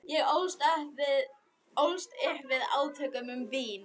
Ég ólst upp við átök um vín.